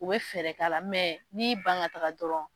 U bɛ fɛɛrɛ kala la n'i yi ban ka taaga dɔrɔn.